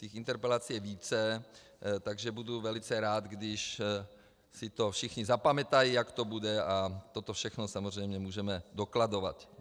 Těch interpelací je více, takže budu velice rád, když si to všichni zapamatují, jak to bude, a toto všechno samozřejmě můžeme dokladovat.